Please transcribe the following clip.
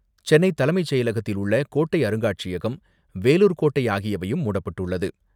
சென்னை தலைமைச் செயலகத்தில் உள்ள கோட்டை அருங்காட்சியகம், வேலூர் கோட்டை ஆகியவையும் மூடப்பட்டுள்ளது.